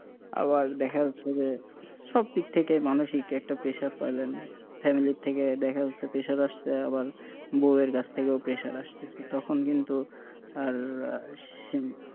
আবার দেখা যাচ্ছে যে সব দিক থেকে মানুষিক একটা pressure পাইলেন family থেকে দেখা যাচ্ছে pressure আসছে আবার বউ এর কাছ থেকেও pressure আসতেছে তখন কিন্তু আর,